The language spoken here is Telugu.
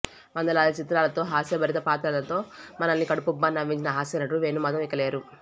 వందలాది చిత్రాలతో హాస్యభరిత పాత్రలతో మనల్ని కడుపుబ్బా నవ్వించిన హాస్యనటుడు వేణుమాధవ్ ఇకలేరు